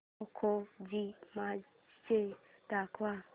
खो खो ची मॅच दाखव